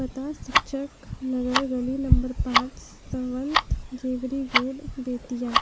पता शिक्षक नगर गली नंबर पाँच सवंत जेवरी रोड बेतिया।